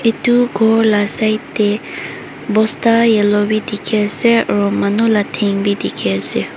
Etu ghor la side teh bosta yellow bi dekhi ase aro manu la then bi dekhi ase.